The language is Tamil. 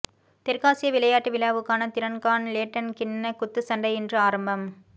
தெற்காசிய விளையாட்டு விழாவுக்கான திறன்காண் லேட்டன் கிண்ண குத்துச்சண்டை இன்று ஆரம்பம்